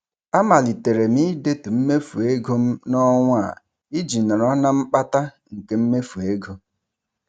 A malitere m ị detu mmefu ego m n'ọnwa a iji nọrọ na mkpata nke mmefu ego.